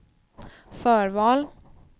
förval